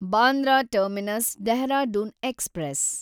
Bandra terminus Dehradun express